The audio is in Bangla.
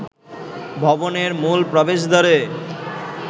ভবনের মূল প্রবেশদ্বারে